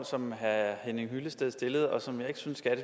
som herre henning hyllested stillede og som jeg ikke synes at